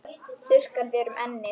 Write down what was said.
Þurrkar þér um ennið.